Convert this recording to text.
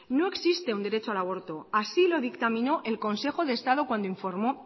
no existe un derecho al aborto así lo dictaminó el consejo de estado cuando informó